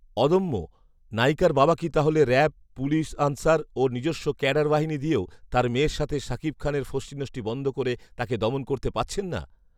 অদম্যঃ নায়িকার বাবা কি তাহলে র‍্যাব, পুলিশ, আনসার ও নিজস্ব ক্যাডার বাহিনী দিয়েও তার মেয়ের সাথে শাকিব খানের ফষ্টিনষ্টি বন্ধ করে তাকে দমন করতে পারছেন না?